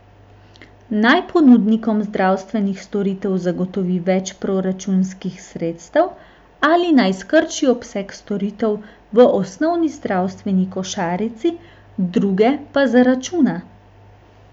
Naj ponudnikom zdravstvenih storitev zagotovi več proračunskih sredstev ali naj skrči obseg storitev v osnovni zdravstveni košarici, druge pa zaračuna?